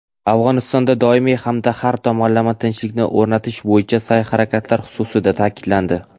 Afg‘onistonda doimiy hamda har tomonlama tinchlikni o‘rnatish bo‘yicha sa’y-harakatlar xususida ta’kidlandi.